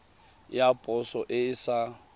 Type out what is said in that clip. ya poso e e sa